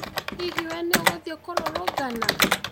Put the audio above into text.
Hihi wee nĩ ũgũthiĩ kũrũrũngana?